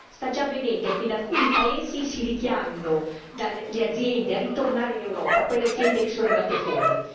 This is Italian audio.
Sta già avvenendo che in alcuni paesi si richiamino le aziende a ritornare in Europa, quelle aziende che sono andate fuori.